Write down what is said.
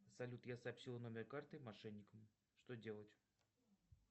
салют я сообщил номер карты мошенникам что делать